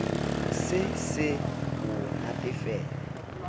se se se o natefela